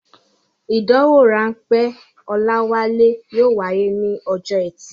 Ìdánwò-ráńpẹ́ Olawale yóò wáyé ní ọjọ́ ẹtì.